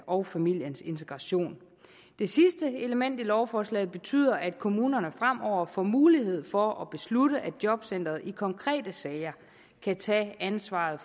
og familiens integration det sidste element i lovforslaget betyder at kommunerne fremover får mulighed for at beslutte at jobcenteret i konkrete sager kan tage ansvaret